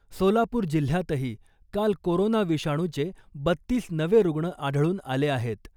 सोलापूर जिल्ह्यातही काल कोरोना विषाणूचे बत्तीस नवे रुग्ण आढळून आले आहेत .